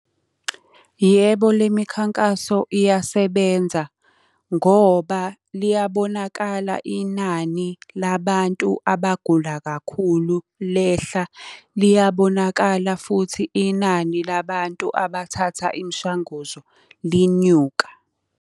Yebo le mikhankaso iyasebenza. Ngoba liyabonakala inani labantu abagula kakhulu lehla, liyabonakala futhi inani labantu abathatha imishanguzo linyuka.